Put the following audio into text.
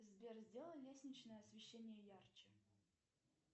сбер сделай лестничное освещение ярче